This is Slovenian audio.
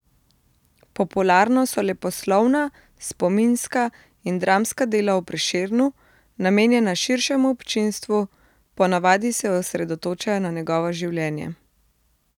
Popularno so leposlovna, spominska in dramska dela o Prešernu, namenjena širšemu občinstvu, ponavadi se osredotočajo na njegovo življenje.